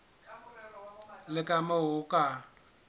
le ka moo o ka